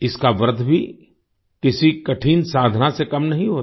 इसका व्रत भी किसी कठिन साधना से कम नहीं होता